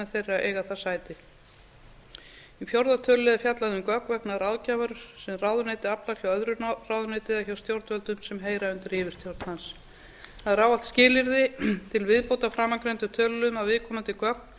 þeirra eiga þar sæti í fjórða tölulið er fjallað um gögn vegna ráðgjafar sem ráðuneyti aflar hjá öðru ráðuneyti eða hjá stjórnvöldum sem heyra undir yfirstjórn hans það er ávallt skilyrði til viðbótar framangreindum töluliðum að viðkomandi